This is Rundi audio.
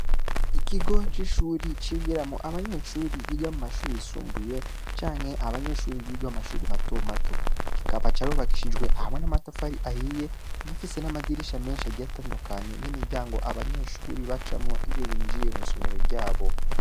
Ikigo c'ishure cigiramwo abanyeshure biga mu mashure yisumbuye canke abanyeshure biga mu mashure mato mato, kikaba carubakishijwe hamwe n'amatafari ahiye, gifise n'amadirisha menshi agiye atandukanye n'imiryango abanyeshure bacamwo iyo binjiye mwisomero ryabo.